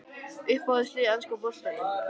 Uppáhald lið í enska boltanum?